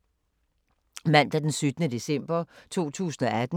Mandag d. 17. december 2018